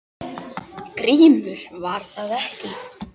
GRÍMUR: Var það ekki!